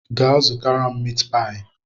Gaa zụtara m miit paayi!